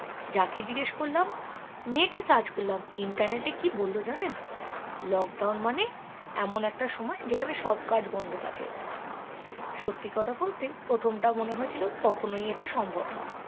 যাকে জিজ্ঞেস করলাম net এ search করলাম internet এ কি বললো জানেন lockdown মানে এমন একটা সময় যেখানে সব কাজ বন্ধ থাকে সত্যি কথা বলতে প্রথমটা মনে হয়েছিল কখনোই এটা সম্ভব নয়